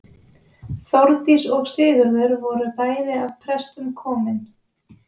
Þórdís og Sigurður voru bæði af prestum komin.